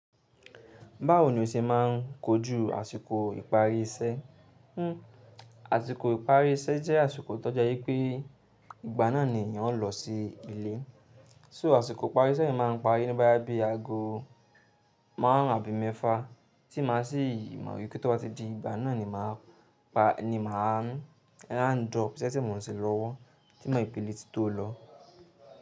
Báwo ni o ṣe máa ń kojú àsìkò ìparí iṣẹ́? Hmm, àsìkò ìparí iṣẹ́ jẹ́ àsìkò tó jẹ́ wípé ìgbà náà ni èèyàn ó lọ sí ilé. So àsìkò ìparí iṣẹ́ ni màá ń parí ní báyìí bí i ago márùn ún àbí mẹ́fà, tí màá sí ì máa yí kí tó bá ti di ìgbà náà ni màá pa, ni màá n drop sẹ́ tí mò ń ṣe lọ́wọ́ tímo ìpìlẹ̀ ti tó lọ.